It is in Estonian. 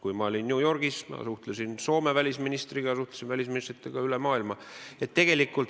Kui ma olin New Yorgis, siis ma arutasin asju Soome välisministriga ja suhtlesin välisministritega üle maailma.